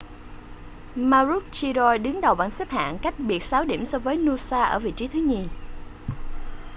maroochydore đứng đầu bảng xếp hạng cách biệt sáu điểm so với noosa ở vị trí thứ nhì